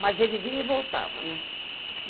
Mas ele vinha e voltava, né?